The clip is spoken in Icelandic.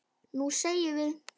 Nú semjum við!